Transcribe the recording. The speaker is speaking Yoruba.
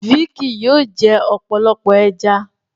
Vicky? yóò jẹ ọpọlọpọ ẹja.